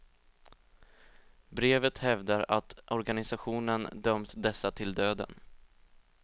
Brevet hävdar att organisationen dömt dessa till döden.